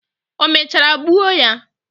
Omechara gbuo ya?